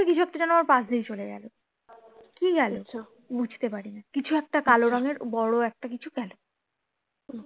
কিছু একটা যেন আমার পাশ দিয়ে চলে গেলো কি গেলো বুঝতে পারি না কিছু একটা কালো রঙের বড়ো একটা কিছু গেলো